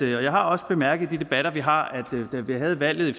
jeg har også bemærket i debatter vi har da vi havde valget i